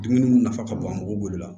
Dumuni mun nafa ka bon an bolo la